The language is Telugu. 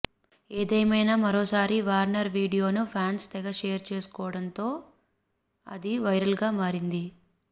ఏదేమైనా మరోసారి వార్నర్ వీడియోను ఫ్యాన్స్ తెగ షేర్ చేస్తుండటంతో అది వైరల్గా మారింది